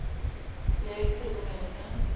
le ya ho itlhokomela ka